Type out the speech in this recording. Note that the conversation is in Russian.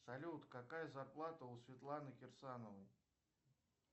салют какая зарплата у светланы кирсановой